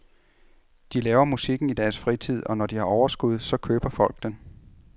De laver musikken i deres fritid, og når de har overskud, og så køber folk den.